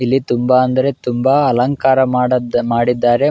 ಇಲ್ಲಿ ತುಂಬಾ ಅಂದರೆ ತುಂಬಾ ಅಲಂಕಾರ ಮಾಡದ್ ಮಾಡಿದ್ದಾರೆ --